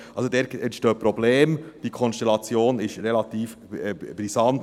Also, dort entstehen Probleme, die Konstellation ist relativ brisant.